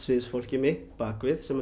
fólkið mitt baksviðs sem